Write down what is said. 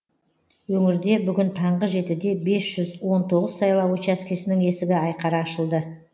өңірде бүгін таңғы жетіде бес жүз он тоғыз сайлау учаскесінің есігі айқара ашылды